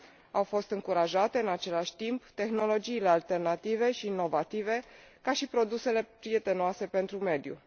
Au fost încurajate în același timp tehnologiile alternative și inovatoare, ca și produsele prietenoase pentru mediu.